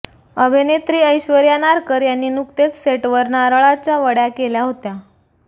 अभिनेत्री ऐश्वर्या नारकर यांनी नुकतेच सेटवर नारळाच्या वड्या केल्या होत्या